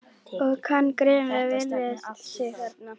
Og kann greinilega vel við sig þarna!